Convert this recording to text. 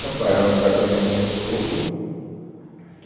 Sampaio, era o apartamento do meu sogro.